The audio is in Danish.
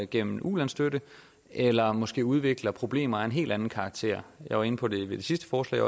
gennem ulandsstøtte eller måske udvikler problemer af en helt anden karakter jeg var også inde på det ved det sidste forslag